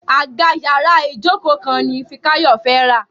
Àga yàrá Ijoko kan ní Fikayo fè rá.: